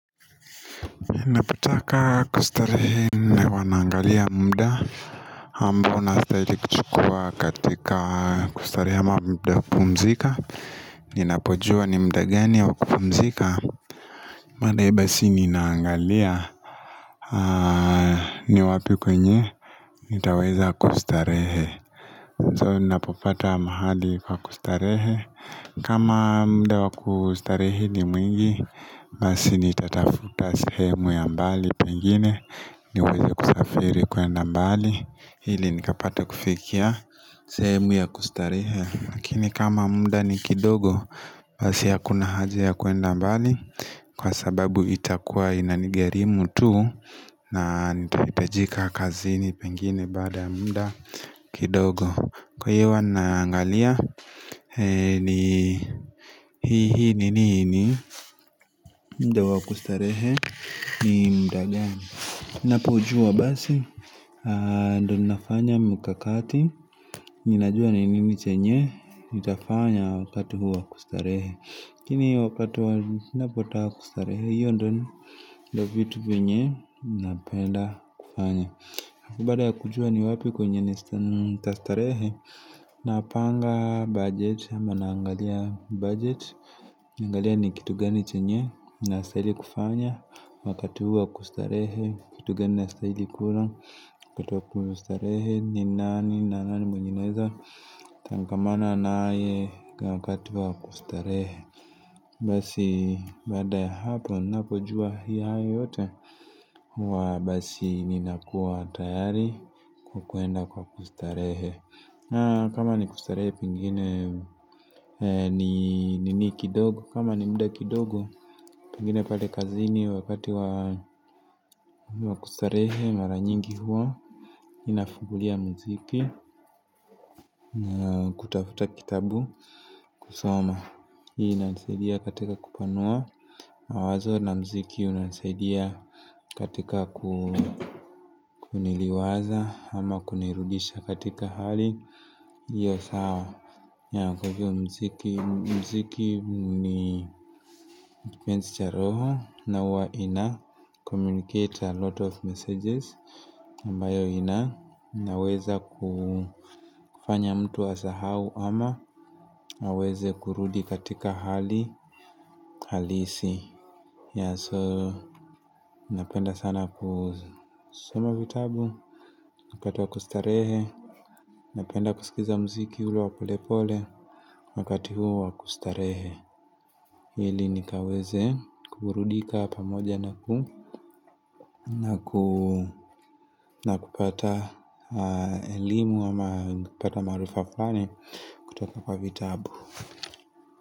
Napotaka kustarehe huwa naangalia muda ambao nastahili kuchukua katika kustarehe ama muda wa kupumzika Ninapojua ni muda gani wa kupumzika baadaye basi ninaangalia ni wapi kwenye? Nitaweza kustarehe. So, ninapopata mahali kwa kustarehe kama muda wa kustarehe ni mwingi, basi nitatafuta sehemu ya mbali. Pengine niweze kusafiri kuenda mbali ili nikapate kufikia sehemu ya kustarehe, lakini kama muda ni kidogo Basi hakuna haja ya kuenda mbali, kwa sababu itakuwa inanigharimu tu na na nitahitajika kazini pengine baada muda kidogo. Kwa hiyo, huwa naangalia ni ni nini muda wa kustarehe ni muda gani. Ninapojua basi, ndiyo ninafanya mikakati Ninajua ni nini chenye Nitafanya wakati huo kustarehe. Lakini wakati napotaka kustarehe hiyo ndiyo vitu vyenye Napenda kufanya alafu baada ya kujua ni wapi kwenye nitastarehe Napanga budget ama naangalia budget. Naangalia ni kitu gani chenye nastahili kufanya Wakati huo wa kustarehe. Kitu gani nastahili kula, kutoka kustarehe ni nani na nani mwenye naweza Tangamana naye kwa wakati wa kustarehe Basi baada ya hapo, ninapojua hayo yote huwa basi mimi nakuwa tayari kwa kwenda kwa kustarehe kama ni kustarehe pengine nini kidogo kama ni muda kidogo pengine pale kazini, wakati wa kustarehe mara nyingi huwa ninafungulia muziki na kutafuta kitabu kusoma hii inanisaidia katika kupanua mawazo na muziki hunisaidia katika kuniliwaza ama kunirudisha katika hali iyo sawa. Kwa hiyo, muziki ni kipenzi cha roho na huwa inacommunicate a lot of messages ambayo inaweza kufanya mtu asahau ama aweze kurudi katika hali halisi. Yeah so, napenda sana kusoma vitabu, wakati wa kustarehe napenda kusikiza muziki ulio wa polepole Wakati huu wa kustarehe. Ili nikaweze kuburudika pamoja na kupata elimu ama kupata maarifa fulani kutoka kwa vitabu.